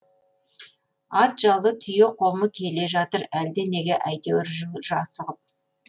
ат жалы түйе қомы келе жатыр әлденеге әйтеуір жүр асығып